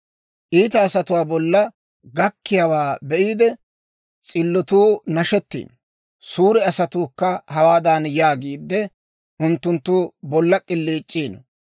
«Iita asatuwaa bolla gakkiyaawaa be'iide, s'illotuu nashettiino; suure asatuukka hawaadan yaagiide, unttunttu bolla k'iliic'iino;